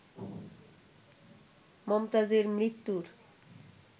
মমতাজের মৃত্যুর